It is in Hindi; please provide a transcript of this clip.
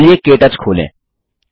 चलिए के टच खोलें